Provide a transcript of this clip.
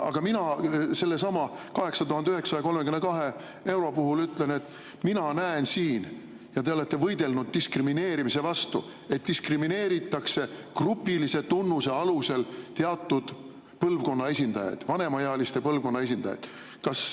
Aga mina sellesama 8932 euro kohta ütlen, et mina näen siin – te olete võidelnud diskrimineerimise vastu –, et diskrimineeritakse grupilise tunnuse alusel teatud põlvkonna esindajaid, vanemaealiste põlvkonna esindajaid.